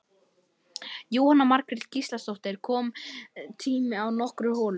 Jóhanna Margrét Gísladóttir: Kominn tími á nokkrar holur?